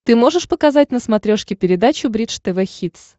ты можешь показать на смотрешке передачу бридж тв хитс